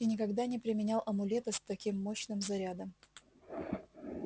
и никогда не применял амулета с таким мощным зарядом